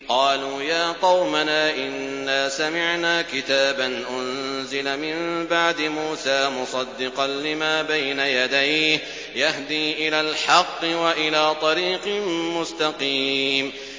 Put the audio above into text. قَالُوا يَا قَوْمَنَا إِنَّا سَمِعْنَا كِتَابًا أُنزِلَ مِن بَعْدِ مُوسَىٰ مُصَدِّقًا لِّمَا بَيْنَ يَدَيْهِ يَهْدِي إِلَى الْحَقِّ وَإِلَىٰ طَرِيقٍ مُّسْتَقِيمٍ